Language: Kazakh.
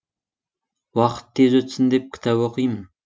уақыт тез өтсін деп кітап оқимын